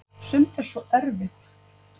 sumt er svo erfitt